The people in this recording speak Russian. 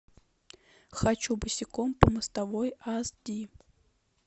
хочу босиком по мостовой ас ди